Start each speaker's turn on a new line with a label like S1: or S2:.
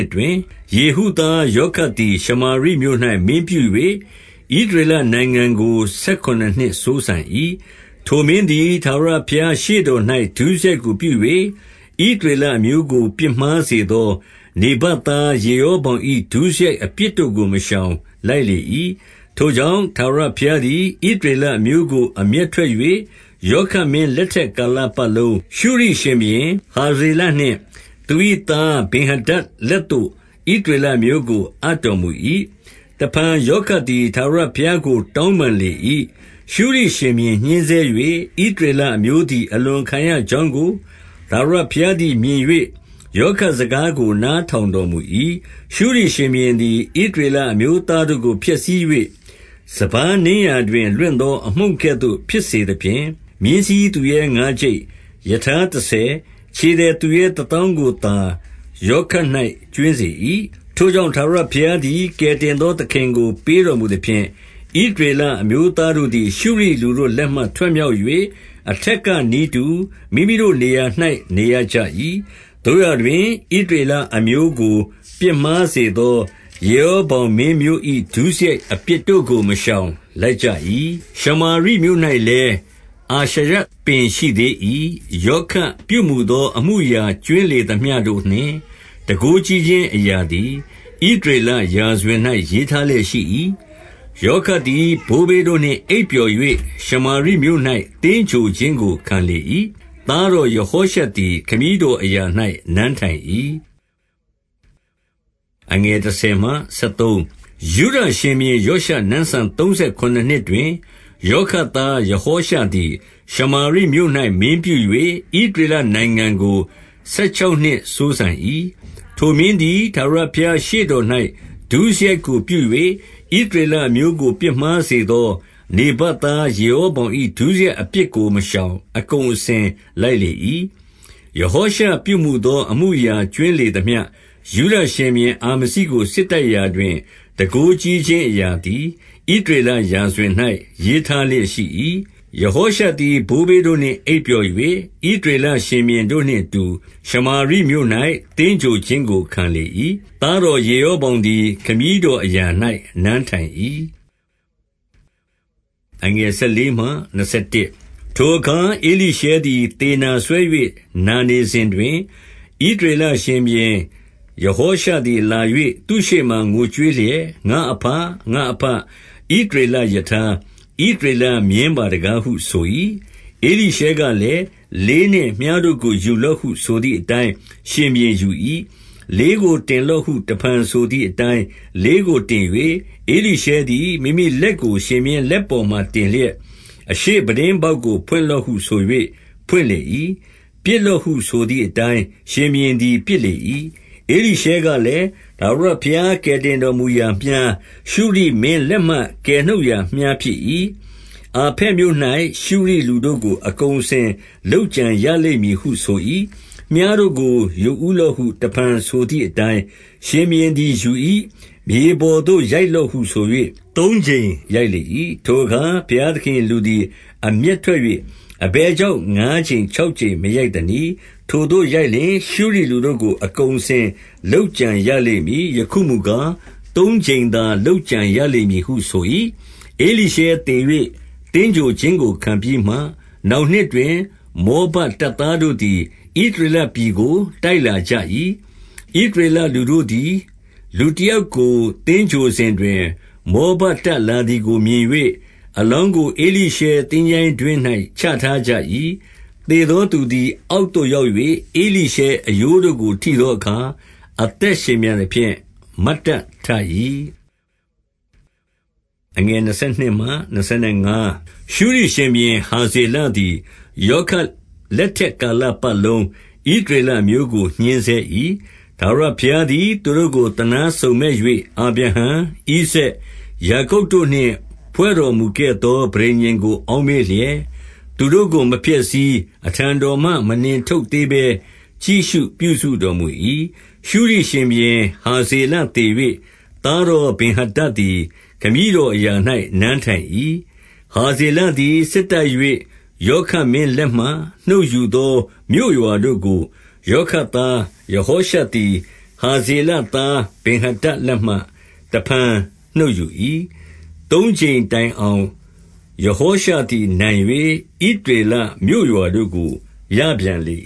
S1: စ်တွင်၊ ယေဟုသားယောခတ်သည် ရှမာရိမြို့၌ မင်းပြု၍ ဣသရေလနိုင်ငံကို ဆယ်ခုနစ်နှစ်စိုးစံ၏။ 2 ထိုမင်းသည် ထာဝရဘုရားရှေ့တော်၌ ဒုစရိုက် ကိုပြု၍၊ ဣသရေလအမျိုးကို ပြစ်မှားစေသော နေဗတ် သား ယေရောဗောင်၏ ဒုစရိုက်အပြစ်တို့ကို မရှောင်၊ လိုက်လေ၏။ 3 ထိုကြောင့် ထာဝရဘုရားသည် ဣသရေလ အမျိုးကို အမျက်ထွက်၍၊ ယောခတ်မင်း လက်ထက် ကာလပတ်လုံး၊ ရှုရိရှင်ဘုရင် ဟာဇေလနှင့်သူ၏သား ဗင်္ယာဒဒ်လက်သို့ ဣသရေလအမျိုးကို အပ်တော်မူ၏။ 4 တဖန်ယောခတ်သည် ထာဝရဘုရားကို တောင်းပန်လေ၏။ ရှုရိရှင်ဘုရင်ညှဉ်းဆဲ၍ ဣသရေလ အမျိုးသည် အလွန်ခံရကြောင်းကို ထာဝရဘုရားသည် မြင်၍ယောခတ်စကားကို နားထောင်တော်မူ၏။ 5 ရှုရိရှင်ဘုရင်သည် ဣသရေလအမျိုးသားတို့ကို ဖျက်ဆီး၍၊ စပါးနင်းရာတွင် လွင့်သောအမှုန့်ကဲ့သို့ ဖြစ်စသဖြင့်၊ မြင်းစီးသူရဲ၊ ငါးကျိပ်၊ ရထားတဆယ်၊ ခြေသည်သူရဲတသောင်းကို သာယောခတ်၌ကြွင်းစေ၏။ 6 ထို့ကြောင့် ထာဝရဘုရားသည် ကယ်တင်သော သခင်ကို ပေးတော်မူသဖြင့်၊ ဣသရေလအမျိုးသားတို့ သည် ရှုရိလူတို့လက်မှထွက်မြောက်၍ အထက်ကနည်းတူ မိမိတို့နေရာ၌ နေရကြ၏။ 7 သို့ရာတွင် ဣသရေလအမျိုးကို ပြစ်မှားစေသော ယေရောဗောင်မင်းမျိုး၏ ဒုစရိုက်အပြစ်တို့ကို မရှောင် လိုက်ကြ၏။ ရှမာရိမြို့၌လည်း အာရှရပင် ရှိသေး၏။ 8 ယောခတ်ပြုမူသော အမှုအရာကြွင်းလေသမျှ တို့နှင့် တန်ခိုးကြီးခြင်းအရာသည် ဣသရေလရာဇဝင်၌ ရေးထားလျက်ရှိ၏။ 9 ယောခတ်သည် ဘိုးဘေးတို့နှင့်အိပ်ပျော်၍၊ ရှမာရိမြို့၌ သင်္ဂြိုဟ်ခြင်းကို ခံလေ၏။ သားတော် ယဟောရှသည် ခမည်းတော်အရာ၌ နန်းထိုင်၏။ 10 ယုဒရှင်ဘုရင်ယောရှ နန်းစံသုံးဆယ်ခုနစ်နှစ် တွင်၊ ယောခတ်သား ယဟောရှသည် ရှမာရိမြို့၌မင်းပြု၍ ဣသရေလနိုင်ငံကို ဆယ်ခြောက်နှစ်စိုးစံ၏။ 11 ထိုမင်းသည် ထာဝရဘုရားရှေ့တော်၌ ဒုစရိုက် ကို ပြု၍ ဣသရေလအမျိုးကို ပြစ်မှားစေသော နေဗတ် သားယေရောဗောင်၏ ဒုစရိုက်အပြစ်ကိုမရှောင်၊ အကုန် အစင်လိုက်လေ၏။ 12 ယဟောရှပြုမူသော အမှုအရာကြွင်းလေသမျှ၊ ယုဒရှင်ဘုရင်အာမဇိကို စစ်တိုက်ရာတွင်၊ တန်ခိုးကြီးခြင်း အရာသည် ဣသရေလရာဇဝင်၌ ရေးထားလျက်ရှိ၏။ 13 ယဟောရှသည် ဘိုးဘေးတို့နှင့်အိပ်ပျော်၍၊ ဣသရေလ ရှင်ဘုရင်တို့နှင့်အတူ ရှမာရိမြို့၌သင်္ဂြိုဟ်ခြင်း ကို ခံလေ၏။ သားတော်ယေရောဗောင်သည် ခမည်း တော်အရာ၌နန်းထိုင်၏။ 14 ထိုအခါ ဧလိရှဲသည် သေနာစွဲ၍ နာနေစဉ် တွင်၊ ဣသရေလရှင်ဘုရင်ယဟောရှသည်လာ၍ သူ့ရှေ့ မှာ ငိုကြွေးလျက် ငါ့အဘ၊ ငါ့အဘ၊ ဣသရေလရထား၊ ဣသရေလမြင်းပါတကားဟု ဆို၏။ 15 ဧလိရှဲကလည်း၊ လေးနှင့်မြှားတို့ကို ယူလော့ဟု ဆိုသည်အတိုင်း ရှင်ဘုရင်ယူ၏။ 16 လေးကိုတင်လော့ဟု တဖန်ဆိုသည်အတိုင်း လေးကိုတင်၍၊ ဧလိရှဲသည် မိမိလက်ကို ရှင်ဘုရင် လက်ပေါ်မှာ တင်လျက်၊ 17 အရှေ့ပြတင်းပေါက်ကို ဖွင့်လော့ဟုဆို၍ ဖွင့် လေ၏။ ပစ်လော့ဟုဆိုသည်အတိုင်း ရှင်ဘုရင်သည် ပစ်လေ၏။ ဧလိရှဲကလည်း၊ ထာဝရ ဘုရားကယ်တင် တော်မူရာမြှား၊ ရှုရိမင်းလက်မှ ကယ်နှုတ်ရာမြှားဖြစ်၏။ အာဖက်မြို့၌ရှုရိလူတို့ကို အကုန်အစင်လုပ်ကြံရလိမ့် မည်ဟု ဆို၏။ 18 မြှားတို့ကိုယူဦးလော့ဟု တဖန်ဆိုသည်အတိုင်း၊ ရှင်ဘုရင်သည် ယူ၏။ မြေပေါ်သို့ ရိုက်လော့ဟုဆို၍ သုံးကြိမ်ရိုက်လေ၏။ 19 ထိုအခါဘုရားသခင်၏လူသည် အမျက်ထွက်၍၊ အဘယ်ကြောင့် ငါးကြိမ်ခြောက်ကြိမ်မရိုက်သနည်း။ ထိုသို့ရိုက်လျှင်၊ ရှုရိလူတို့ကို အကုန်အစင်လုပ်ကြံရလိမ့် မည်။ ယခုမူကား၊ သုံးကြိမ်သာ လုပ်ကြံရလိမ့်မည်ဟု ဆို၏။ 20 ဧလိရှဲသေ၍ သင်္ဂြိုဟ်ခြင်းကိုခံပြီးမှ၊ နောင်နှစ် တွင် မောဘတပ်သားတို့သည် ဣသရေလပြည်ကို တိုက်လာကြ၏။ 21 ဣသရေလလူတို့သည် လူတယောကို သင်္ဂြိုဟ် စဉ်တွင်၊ မော်ဘတပ်လာသည်ကို မြင်၍၊ အလောင်းကို ဧလိရှဲသင်္ချိုင်းတွင်း၌ ချထားကြ၏။ သေသောသူသည် အောက်သို့ရောက်၍၊ ဧလိရှဲအရိုးတို့ကို ထိသောအခါ၊ အသက်ရှင်ပြန်သဖြင့် မတ်တတ်ထ၏။ 22 ရှုရိရှင်ဘုရင်ဟာဇေလသည် ယောခတ် လက်ထက်ကာလပတ်လုံး ဣသရေလအမျိုးကို ညှဉ်းဆဲ ၏။ 23 ထာဝရဘုရားသည် သူတို့ကို သနားစုံမက်၍ အာဗြဟံ၊ ဣဇာက်၊ ယာကုပ်တို့နှင့် ဖွဲ့တော်မူခဲ့သော ပဋိညာဉ်ကို အောက်မေ့လျက် သူတို့ကို မဖျက်ဆီး၊ အထံတော်မှမနှင်ထုတ်သေးဘဲ ကြည့်ရှုပြုစုတော်မူ၏။ 24 ရှုရိရှင်ဘုရင် ဟာဇေလသေ၍၊ သားတော် ဗင်္ဟာဒဒ်သည် ခမည်းတော်အရာ၌ နန်းထိုင်၏။ 25 ဟာဇေလသည် စစ်တိုက်၍ ယောခတ်မင်း လက်မှ နှုတ်ယူသော မြို့ရွာတို့ကို ယောခတ်သား ယဟော ရှသည် ဟာဇေလသားဗင်္ဟာဒဒ်လက်မှ နှုတ်ယူ၏။ သုံးကြိမ်တိုင်အောင် ယဟောရှသည်နိုင်၍ ဣသရေလ မြို့ရွာတို့ကို ရပြန်လေ